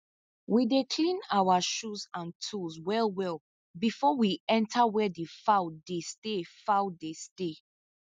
we dey clean our shoe and tools well well before we enter where the fowl dey stay fowl dey stay